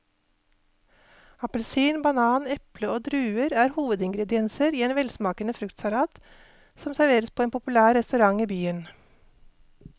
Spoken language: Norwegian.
Appelsin, banan, eple og druer er hovedingredienser i en velsmakende fruktsalat som serveres på en populær restaurant i byen.